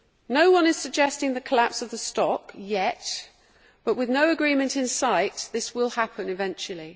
No one is suggesting the collapse of the stock yet, but with no agreement in sight this will happen eventually.